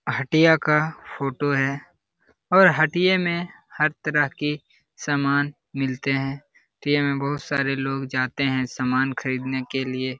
हटिया का फोटो है और हटिये में हर तरह के सामान मीलते है में बहुत सारे लोग जाते है सामान खरीदने के लिए |